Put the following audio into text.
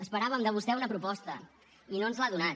esperàvem de vostè una proposta i no ens l’ha donat